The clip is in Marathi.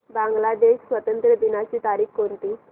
बांग्लादेश स्वातंत्र्य दिनाची तारीख कोणती